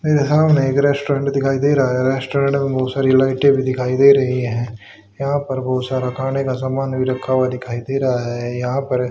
मेरे सामने एक रेस्टोरेंट दिखाई दे रहा है रेस्टोरेंट में बहुत सारी लाइटें भी दिखाई दे रही हैं यहां पर बहुत सारा खाने का सामान भी रखा हुआ दिखाई दे रहा है यहां पर --